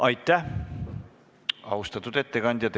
Aitäh, austatud ettekandja!